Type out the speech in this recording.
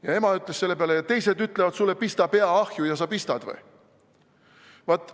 " Ja ema ütles selle peale: "Teised ütlevad sulle, et pista pea ahju, ja sa pistad või?